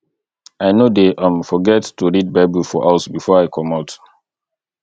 i no dey um forget to read bible for house before i comot